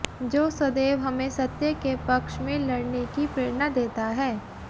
जो सदैव हमें सत्य के पक्ष में लडऩे की प्रेरणा देता है